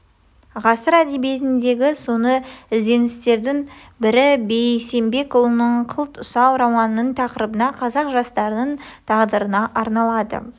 ғасыр әдебиетіндегі соны ізденістердің бірі бейсенбекұлының қылт ұсау романының тақырыбы қазақ жастарының тағдырына арналады